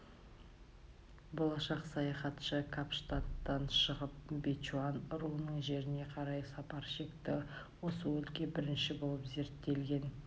болашақ саяхатшы капштадтан шығып бечуан руының жеріне қарай сапар шекті осы өлкені бірінші болып зерттеген